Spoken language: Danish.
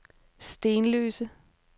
Stenløse